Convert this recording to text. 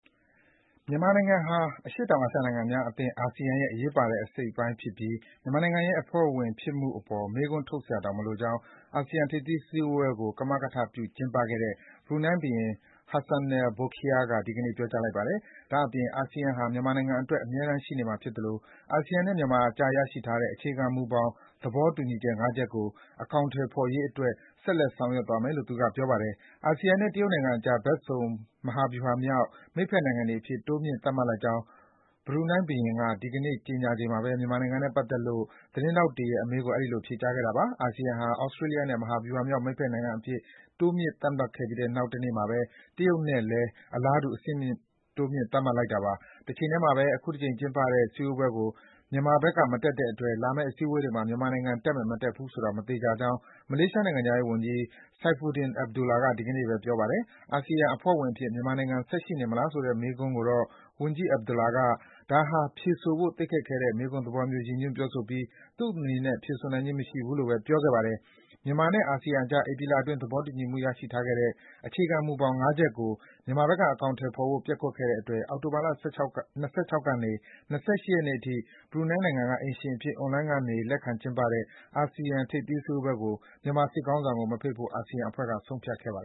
မြန်မာနိုင်ငံဟာ အရှေ့တောင်အာရှနိုင်ငံများအသင်း (ASEAN) ရဲ့ အရေးပါတဲ့အစိတ် အပိုင်းဖြစ်ပြီး မြန်မာနိုင်ငံရဲ့အဖွဲ့ဝင်ဖြစ်မှုအပေါ် မေးခွန်းထုတ်စရာတောင်မလိုကြောင်း အာဆီယံ ထိပ်သီးစည်းဝေးပွဲကို ကမကထပြု ကျင်းပခဲ့တဲ့ ဘရူနိုင်းဘုရင် Hassanal Bolkiah က ဒီကနေ့ ပြောကြားလိုက်ပါတယ်။ ဒါ့အပြင် အာဆီယံဟာ မြန်မာနိုင်ငံအတွက် အမြဲတမ်းရှိနေမှာဖြစ်သလို အာဆီယံနဲ့ မြန်မာအကြား ရရှိထားတဲ့ အခြေခံမူဘောင် သဘောတူညီချက် (၅) ချက်ကို အကောင် အထည်ဖော်ရေးအတွက် ဆက်လက် ဆောင်ရွက်သွားမယ်လို့လည်း ပြောပါတယ်။ အာဆီယံနဲ့ တရုတ်နိုင်ငံအကြား ဘက်စုံမဟာဗျူဟာမြောက် မိတ်ဘက်နိုင်ငံတွေအဖြစ် တိုးမြင့်သတ်မှတ်လိုက်ကြောင်း ဘရူနိုင်းဘုရင်က ဒီကနေ့ ကြေညာချိန်မှာပဲ မြန်မာနိုင် ငံနဲ့ပတ်သက်လို့ သတင်းထောက်တွေရဲ့အမေးကို အဲဒီလို ဖြေကြားခဲ့တာပါ။ အာဆီယံဟာ သြစတေးလျနဲ့ မဟာဗျူဟာမြောက် မိတ်ဘက်နိုင်ငံအဖြစ် တိုးမြှင့် သတ်မှတ်ခဲ့ပြီး နောက်တနေ့မှာပဲ တရုတ်နိုင်ငံနဲ့လည်း အလားတူ အဆင့်တိုးမြှင့်လိုက်တာပါ။ တချိန်တည်းမှာပဲ အခုတကြိမ်ကျင်းပတဲ့ စည်းဝေးပွဲကို မြန်မာဘက်က မတက်တဲ့အတွက် လာမယ့် အစည်းဝေးတွေမှာ မြန်မာနိုင်ငံ တက်မယ် မတက်ဘူးဆိုတာ မသေချာကြောင်း မလေးရှားနိုင်ငံခြားရေးဝန်ကြီး Saifuddin Abdullah က ဒီကနေ့မှာပဲ ပြောပါတယ်။ အာဆီယံအဖွဲ့ဝင်အဖြစ် မြန်မာနိုင်ငံ ဆက်ရှိနေမလားဆိုတဲ့ မေးခွန်းကိုတော့ ဝန်ကြီး Abdullah က ဒါဟာ ဖြေဆိုဖို့ သိပ်ခက်ခဲတဲ့မေးခွန်းသဘောမျိုး ရည်ညွှန်းပြောဆိုပြီး သူ့အနေနဲ့ ဖြေဆိုနိုင်ခြင်းမရှိဘူးလို့ပဲ ပြောခဲ့ပါတယ်။ မြန်မာနဲ့ အာဆီယံအကြား ဧပြီလအတွင်း သဘောတူခဲ့ကြတဲ့ အခြေခံမူဘောင် (၅) ချက်ကို မြန်မာဘက်က အကောင်အထည်ဖော်ဖို့ ပျက်ကွက်တဲ့အတွက် အောက်တိုဘာလ ၁၆ ရက်ကနေ ၂၈ ရက် ဒီကနေ့အထိ ဘရူနိုင်းနိုင်ငံက အိမ်ရှင်အဖြစ် အွန်လိုင်းကနေ လက်ခံကျင်းပတဲ့ အာဆီယံ ထိပ်သီးစည်းဝေးပွဲကို မြန်မာစစ်ခေါင်းဆောင်ကို မဖိတ်ဖို့ အာဆီယံအဖွဲ့က ဆုံးဖြတ်ခဲ့တာပါ။